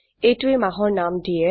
এইটোৱে মাহৰ নাম দিয়ে